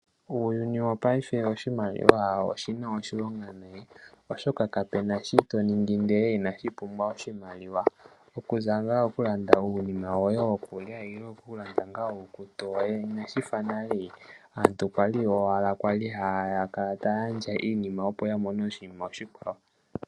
Uyuni wopayife oshimaliwa oshina oshilonga nonkondo, oshoka kapena shoka toningi ndele inadhipumbwa oshimaliwa, okuza nga okulanda uunima woye wokulya nenge iikutu yoye, Inashifa nale aantu kwali owala kwali hakala tayandja iinima opo yamone oshinima oshikwawo.